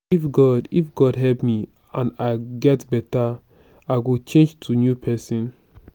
if god if god help me and i get beta i go change to new person